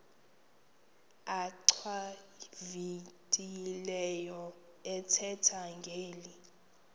achwavitilevo ethetha ngeli